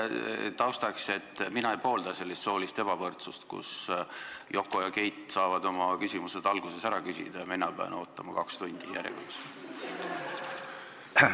Taustaks: mina ei poolda sellist soolist ebavõrdsust, kui Yoko ja Keit saavad oma küsimused alguses ära küsida ja mina pean kaks tundi järjekorras ootama.